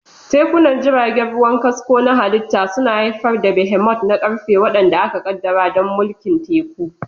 Tafkunan jiragen ruwa, kasko na halitta, suna haifar da behemoths na ƙarfe waɗanda aka ƙaddara don mulkin teku.